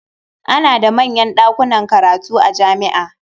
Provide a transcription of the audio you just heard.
Ana da manyan ɗakunan karatu a jami'a.